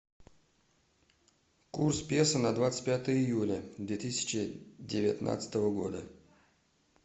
курс песо на двадцать пятое июля две тысячи девятнадцатого года